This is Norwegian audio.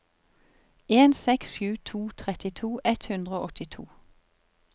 en seks sju to trettito ett hundre og åttito